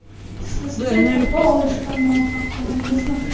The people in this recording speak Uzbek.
Siz-chi, topa olishga muvaffaq bo‘ldingizmi?